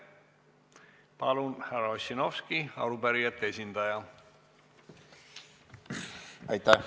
Palun, härra Ossinovski, arupärijate esindaja!